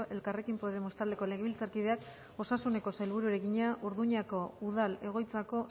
elkarrekin podemos taldeko legebiltzarkideak osasuneko sailburuari egina urduñako udal egoitzako